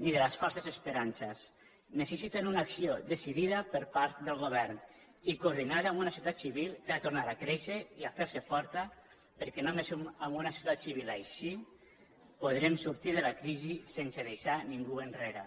ni de les fal·ses esperances necessiten una acció decidida per part del govern i coordinada amb una societat civil que ha de tornar a créixer i a fer·se forta perquè només amb una societat civil així podrem sortir de la crisi sense deixar ningú enrere